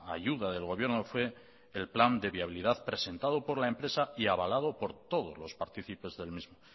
ayuda del gobierno fue el plan de viabilidad presentado por la empresa y avalado por todos los partícipes del mismo